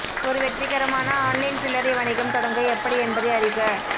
ஒரு வெற்றிகரமான ஆன்லைன் சில்லறை வணிகம் தொடங்க எப்படி என்பதை அறிக